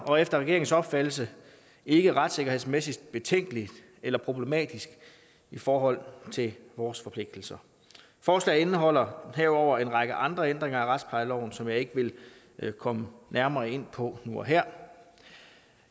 og efter regeringens opfattelse ikke retssikkerhedsmæssigt betænkeligt eller problematisk i forhold til vores forpligtelser forslaget indeholder herudover en række andre ændringer af retsplejeloven som jeg ikke vil komme nærmere ind på nu og her